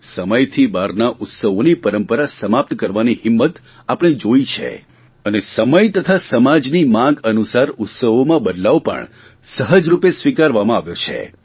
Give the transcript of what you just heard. સમયથી બહારના ઉત્સવોની પરંપરા સમાપ્ત કરવાની હિંમત આપણે જોઇ છે અને સમય તથા સમાજની માંગ અનુસરા ઉત્સવોમાં બદલાવ પણ સહજરૂપે સ્વીકાર કરવામાં આવ્યો છે